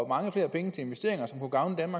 mange flere penge til investeringer som kunne gavne